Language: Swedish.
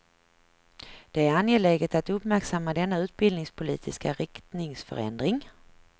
Det är angeläget att uppmärksamma denna utbildningspolitiska riktningsförändring.